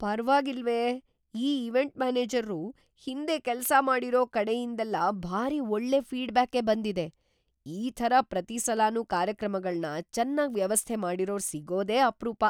ಪರ್ವಾಗಿಲ್ವೇ! ಈ ಇವೆಂಟ್ ಮ್ಯಾನೇಜರ್ರು ಹಿಂದೆ ಕೆಲ್ಸ ಮಾಡಿರೋ ಕಡೆಯಿಂದೆಲ್ಲ ಭಾರಿ ಒಳ್ಳೆ ಫೀಡ್‌ಬ್ಯಾಕೇ ಬಂದಿದೆ. ಈ ಥರ ಪ್ರತೀ ಸಲನೂ ಕಾರ್ಯಕ್ರಮಗಳ್ನ ಚೆನ್ನಾಗ್‌ ವ್ಯವಸ್ಥೆ ಮಾಡಿರೋರ್‌ ಸಿಗೋದೇ ಅಪ್ರೂಪ.